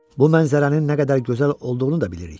Bu mənzərənin nə qədər gözəl olduğunu da bilirik.